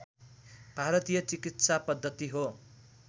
भारतीय चिकित्सापद्दति हो